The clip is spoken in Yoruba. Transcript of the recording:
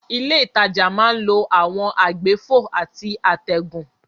Ilé ìtajà máa ń lo àwọn àgbéfò àti àtẹ̀gùn.